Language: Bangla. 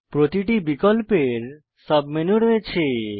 প্রতিটি বিকল্পের সাবমেনু রয়েছে